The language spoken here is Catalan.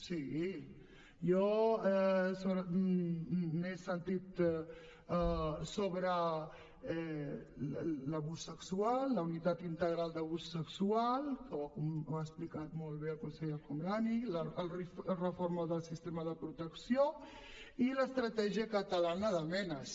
sí jo n’he sentit sobre l’abús sexual la unitat integral d’abús sexual que ho ha explicat molt bé el conseller el homrani la reforma del sistema de protecció i l’estratègia catalana de menas